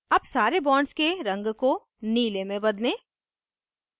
अब सारे bonds के रंग को नीले में बदलें